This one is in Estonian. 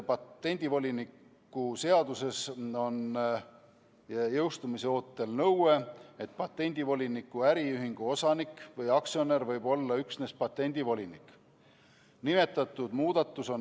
Patendivoliniku seaduses on jõustumise ootel nõue, et patendivoliniku äriühingu osanik või aktsionär võib olla üksnes patendivolinik.